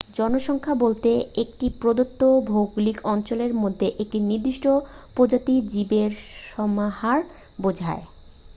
জনসংখ্যা বলতে একটি প্রদত্ত ভৌগলিক অঞ্চলের মধ্যে একটি নির্দিষ্ট প্রজাতির জীবের সমাহার বোঝায়